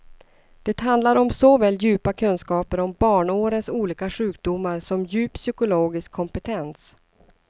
Det handlar om såväl djupa kunskaper om barnårens olika sjukdomar som djup psykologisk kompetens.